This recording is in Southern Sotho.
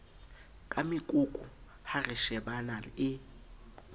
ka mekoko ha reshebana e